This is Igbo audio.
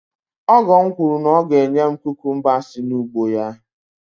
ọgọ m kwuru na ọ ga-enye m kukumba si n’ugbo ya